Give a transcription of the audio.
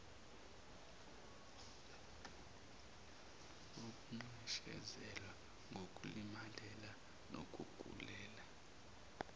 wokunxeshezelwa ngokulimalela nokugulela